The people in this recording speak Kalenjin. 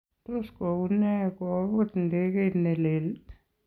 Tos kowuu nee kopuut ndekeit neleel?